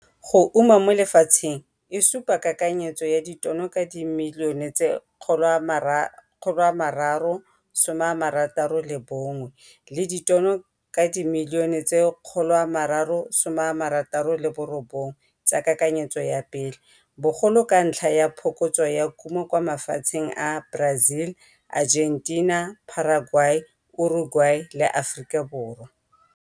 Go uma mo lefatsheng e supa kakanyetso ya ditono ka dimilione tse 361 mabapi le ditono ka dimilione tse 369 tsa kakanyetso ya pele, bogolo ka ntlha ya phokotso ya kumo kwa mafatsheng a Brazil, Argentina, Paraguay, Uruguay le Afrikaborwa.